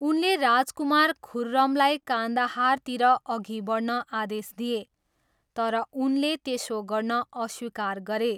उनले राजकुमार खुर्रमलाई कान्दाहारतिर अघि बढ्न आदेश दिए, तर उनले त्यसो गर्न अस्वीकार गरे।